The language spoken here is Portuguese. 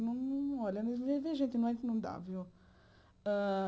Não olha dava, viu? Hã